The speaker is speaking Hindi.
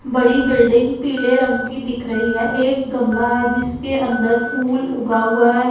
बड़ी बिल्डिंग पीले रंग की दिख रही है एक गमला है जिसके अंदर फूल उगा हुआ है।